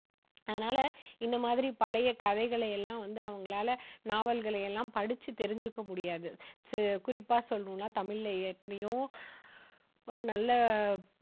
அதனால, இந்த மாதிரி பழைய கதைகளை எல்லாம் வந்து, அவங்களால நாவல்களை எல்லாம் படிச்சு தெரிஞ்சுக்க முடியாது. குறிப்பா சொல்லணும்னா தமிழ்ல எத்தனையோ நல்ல